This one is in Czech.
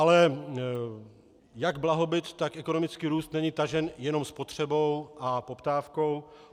Ale jak blahobyt, tak ekonomický růst není tažen jenom spotřebou a poptávkou.